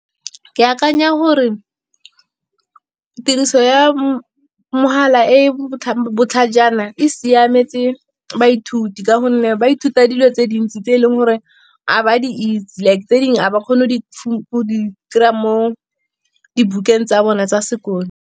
Ke akanya gore tiriso ya mogala e botlhajana, e siametse baithuti. Ka gonne ba ithuta dilo tse dintsi tse eleng gore ga ba di itse. Like tse dingwe ga ba kgone go kry-a mo dibukeng tsa bone tsa sekolo.